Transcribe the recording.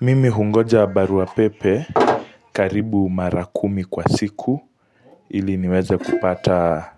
Mimi hungoja barua pepe karibu mara kumi kwa siku ili niweze kupata